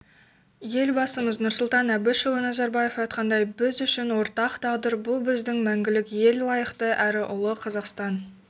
елбасымыз нұрсұлтан әбішұлы назарбаев айтқандай біз үшін ортақ тағдыр бұл біздің мәңгілік ел лайықты әрі ұлы қазақстан